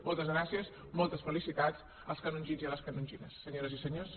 moltes gràcies moltes felicitats als canongins i a les canongines senyores i senyors